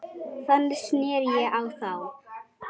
Þannig sneri ég á þá.